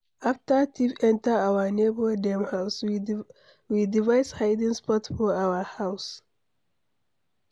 After thief enter our neighbor dem house, we device hiding spot for our house.